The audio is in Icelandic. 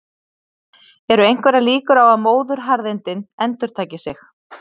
Eru einhverjar líkur á að móðuharðindin endurtaki sig?